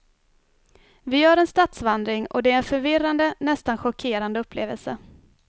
Vi gör en stadsvandring och det är en förvirrande, nästan chockerande upplevelse.